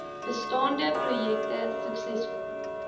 bestaande projekte suksesvol